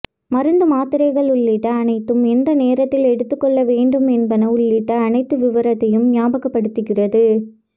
மருந்து மாத்திரைகள் உள்ளிட்ட அனைத்தும் எந்த நேரத்தில் எடுத்துக் கொள்ள வேண்டும் என்பன உள்ளிட்ட அனைத்து விவரத்தையும் நியாபகப்படுத்துகிறது